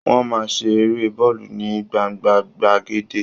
Wọ́n máa ń ṣe Eré bọ́ọ̀lù ní gbangba gbàgede